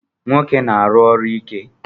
Nwoke na-aru ọrụ ike